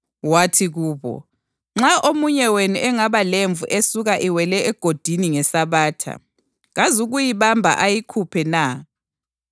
Wathi kubo, “Nxa omunye wenu engaba lemvu esuka iwele egodini ngeSabatha, kazukuyibamba ayikhuphe na?